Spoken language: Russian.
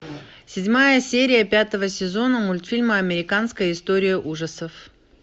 седьмая серия пятого сезона мультфильма американская история ужасов